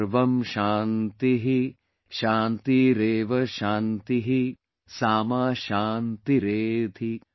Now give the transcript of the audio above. सर्वं शान्तिःशान्तिरेव शान्तिः सामा शान्तिरेधि||